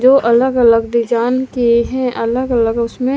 वो अलग-अलग डिजाईन के है अलग-अलग उसमे--